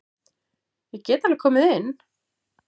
Ég get alveg komið inn.